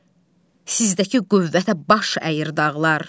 Sizdəki qüvvətə baş əyir dağlar.